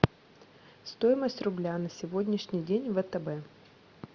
стоимость рубля на сегодняшний день в втб